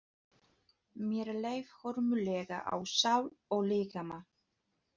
Mér leið hörmulega á sál og líkama.